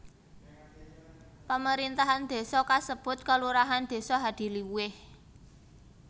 Pamerintahan désa kasebut kelurahan Desa Hadiluwih